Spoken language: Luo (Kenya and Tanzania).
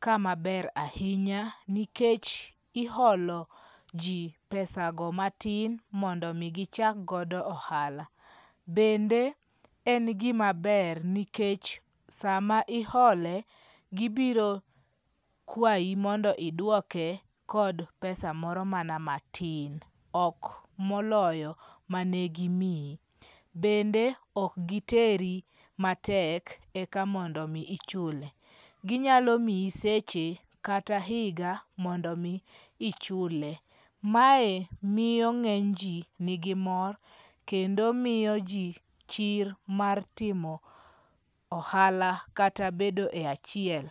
kama ber ahinya nikech iolo ji pesago matin mondo mi gichak godo ohala, bende en gimaber nikech sama iole gibiro kwayi monando idwoke kod pesa moro mana matin ok moloyo manegimiyi, bende ok giteri matek eka mondo miyi chule, ginyalo miyi seche ;kata hinga mondo mi ichule, mae miyo nge'nyji nigi mor kendo miyo ji chir mar timo ahala kata bedo e achiel.